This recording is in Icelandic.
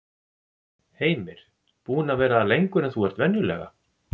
Heimir: Búinn að vera lengur en þú ert venjulega?